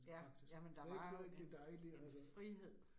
Ja, ja men der var en en frihed